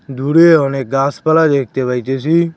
দূরে অনেক গাছপালা দেখতে পাইতেসি।